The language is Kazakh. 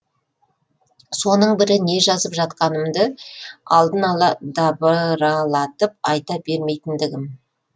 соның бірі не жазып жатқанымды алдын ала дабыралатып айта бермейтіндігім